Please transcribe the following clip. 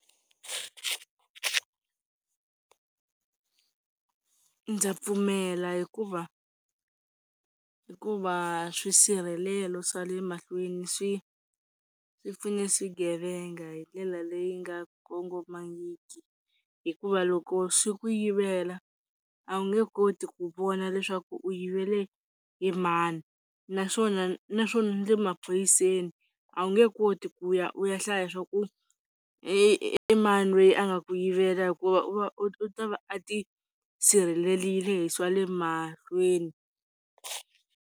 Ndza pfumela hikuva hikuva swisirhelelo swa le mahlweni swi swi pfune swigevenga hi ndlela leyi nga kongomangiki hikuva loko swi ku yivela a wu nge koti ku vona leswaku u yivele hi mani naswona naswona ni le emaphoyiseni a wu nge koti ku ya u ya hlaya swaku i i mani loyi a nga ku yivela hikuva u va u ta va a ti sirhelelile hi swa le mahlweni.